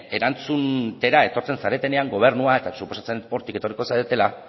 erantzutera etortzen zaretenean gobernua eta suposatzen dut hortik etorriko zaretela